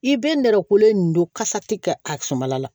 I bɛ nɛrɛ kolen nin don kasa ti kɛ a samala la